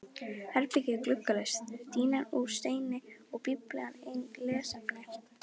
Herbergið er gluggalaust, dýnan úr steini og Biblían eina lesefnið.